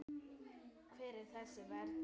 Hver er þessi vernd?